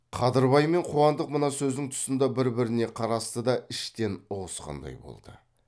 қадырбай мен қуандық мына сөздің тұсында бір біріне қарасты да іштен ұғысқандай болды